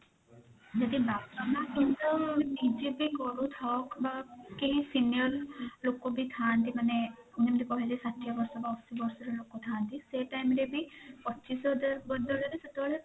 ଯଦି ବାପା ମାଁ ନିଜେ ବି କରୁଥାଉ ବା କେହି senior ଲୋକ ବି ଥାନ୍ତି ମାନେ ଯେମିତି କହିଲି ଷାଠିଏ ବର୍ଷ ବା ଅଶି ବର୍ଷର ଲୋକ ଥାନ୍ତି ସେ time ରେ ବି ପଚିଶ ହଜାର ବଦଳରେ ସେତେବେଳେ